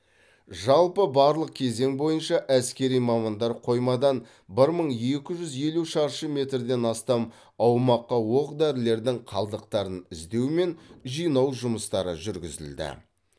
жалпы барлық кезең бойынша әскери мамандар қоймадан бір мың екі жүз елу шаршы метрден астам аумаққа оқ дәрілердің қалдықтарын іздеу мен жинау жұмыстары жүргізілді